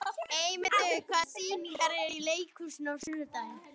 Eymundur, hvaða sýningar eru í leikhúsinu á sunnudaginn?